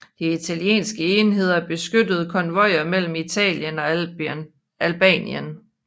De italienske enheder beskyttede konvojer mellem Italien og Albanien